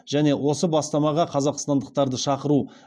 және осы бастамаға қазақстандықтарды шақыру